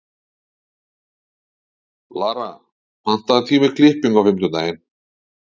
Lara, pantaðu tíma í klippingu á fimmtudaginn.